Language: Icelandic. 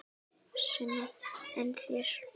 Sunna: En þér?